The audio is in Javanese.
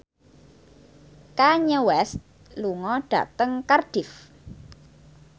Kanye West lunga dhateng Cardiff